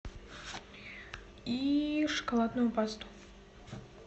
и шоколадную пасту